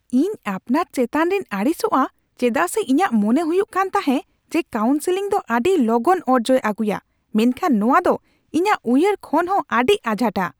ᱤᱧ ᱟᱯᱱᱟᱨ ᱪᱮᱛᱟᱱ ᱨᱮᱧ ᱟᱹᱲᱤᱥᱚᱜᱼᱟ ᱪᱮᱫᱟᱜ ᱥᱮ ᱤᱧᱟᱹᱜ ᱢᱚᱱᱮ ᱦᱩᱭᱩᱜ ᱠᱟᱱ ᱛᱟᱸᱦᱮ ᱡᱮ ᱠᱟᱣᱩᱱᱥᱮᱞᱤᱝ ᱫᱚ ᱟᱹᱰᱤ ᱞᱚᱜᱚᱱ ᱚᱨᱡᱚᱭ ᱟᱹᱜᱩᱭᱟ, ᱢᱮᱱᱠᱷᱟᱱ ᱱᱚᱣᱟ ᱫᱚ ᱤᱧᱟᱹᱜ ᱩᱭᱦᱟᱹᱨ ᱠᱷᱚᱱ ᱦᱚᱸ ᱟᱹᱰᱤ ᱟᱡᱷᱟᱴᱟ ᱾